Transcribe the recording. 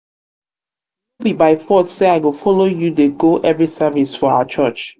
no be by force say i go follow you dey go every service for our church.